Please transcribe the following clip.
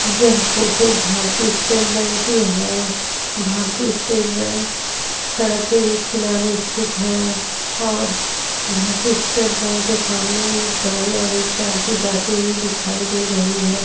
यह फोटो भारतीय state bank की है भारतीय स्टेट बैंक सड़क के एक किनारे सतिथ है और भारतीय स्टेट बैंक के सामने एक गाड़ी और एक टेम्पो जाती हुई दिखाई दे रही है।